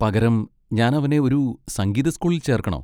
പകരം ഞാൻ അവനെ ഒരു സംഗീത സ്കൂളിൽ ചേർക്കണോ?